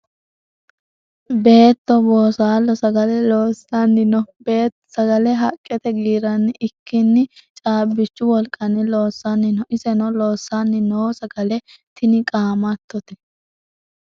Beetto boosaalo sagale loosanni no. Beetto sagale haqete giiranni ikikinni caabichu wolqanni loosanni no. Iseno loosanni noo sagale tinni qaammattote.